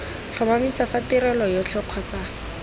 tlhomamisa fa tirelo yotlhe kgotsa